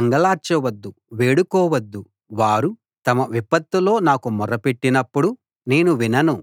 అంగలార్చవద్దు వేడుకోవద్దు వారు తమ విపత్తులో నాకు మొర పెట్టినపుడు నేను వినను